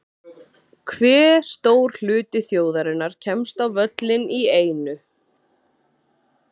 Hve stór hluti þjóðarinnar kemst á völlinn í einu?